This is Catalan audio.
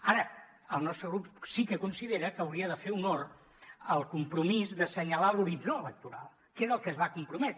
ara el nostre grup sí que considera que hauria de fer honor al compromís d’assenyalar l’horitzó electoral que és al que es va comprometre